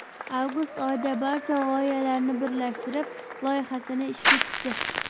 Avgust oyida barcha g‘oyalarni birlashtirib, loyihasini ishga tushdi.